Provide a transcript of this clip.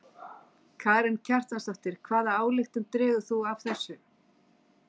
Karen Kjartansdóttir: Hvaða ályktun dregur þú af þessu?